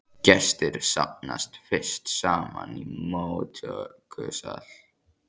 Gestir safnast fyrst saman í móttökusal.